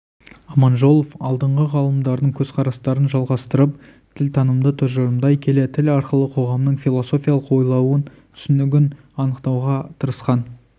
аманжолов алдыңғы ғалымдардың көзқарастарын жалғастырып тілтанымды тұжырымдай келе тіл арқылы қоғамның философиялық ойлауын түсінігін анықтауға тырысқан